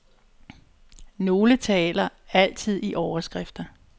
Nogle taler altid i overskrifter.